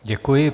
Děkuji.